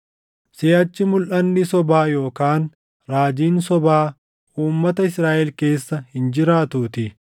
Siʼachi mulʼanni sobaa yookaan raajiin sobaa uummata Israaʼel keessa hin jiraatuutii.